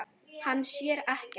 Hann sér ekkert.